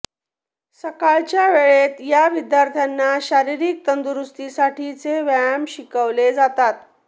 सकाळच्या वेळेत या विद्यार्थ्यांना शारीरिक तंदुरुस्तीसाठीचे व्यायाम शिकवले जातात